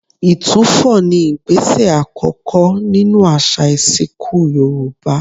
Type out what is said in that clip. Ìtúfọ̀ ni ìgbésẹ̀ àkọ́kọ́ nínú àṣà ìsìnkú Yorùbá